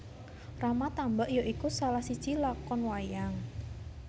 Rama Tambak ya iku salah siji lakon wayang